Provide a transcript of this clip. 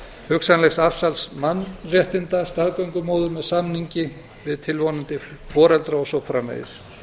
hugsanlegs afsals mannréttinda staðgöngumóður með samning við tilvonandi foreldra og svo framvegis